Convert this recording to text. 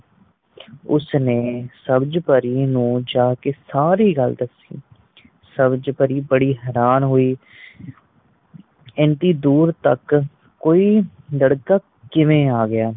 ਉਸਨੇ ਸਬਜ ਪਰੀ ਨੂੰ ਜਾਂਕੇ ਸਾਰੀ ਗੱਲ ਦਸੀ ਸਬਜ ਪਰੀ ਬੜੀ ਹੈਰਾਨ ਹੋਈ ਏਨੀ ਦੂਰ ਤੱਕ ਕੋਈ ਲੜਕਾ ਕਿਵੇਂ ਆ ਗਿਆ